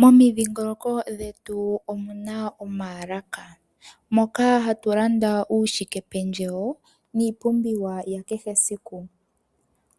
Momidhingoloko dhetu omuna omaalaka moka hatulanda uushike pendjewo niipumbiwa yakehesiku